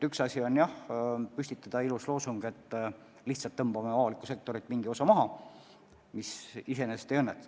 Üks asi on, jah, püstitada ilus loosung, et lihtsalt tõmbame avalikku sektorit mingis osa kokku, aga see lihtsalt ei õnnestu.